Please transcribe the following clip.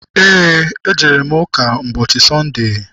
Eé, ejere m ụka ụbọchị Sọnde.